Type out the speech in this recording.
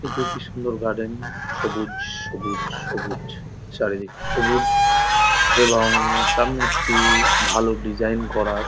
এটি একটি সুন্দর গার্ডেন সবুজ সবুজ সবুজ চারিদিক সবুজ এবং-অং সামনে একটি-ই-ই ভালো ডিজাইন করা --